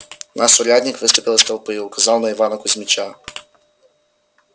наш урядник выступил из толпы и указал на ивана кузмича